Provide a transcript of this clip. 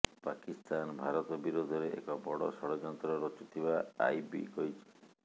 ପାକିସ୍ତାନ ଭାରତ ବିରୋଧରେ ଏକ ବଡ ଷଡଯନ୍ତ୍ର ରଚୁଥିବା ଆଇବି କହିଛି